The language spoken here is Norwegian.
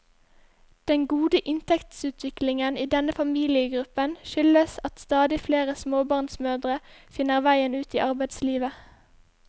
Den gode inntektsutviklingen i denne familiegruppen skyldes at stadig flere småbarnsmødre finner veien ut i arbeidslivet.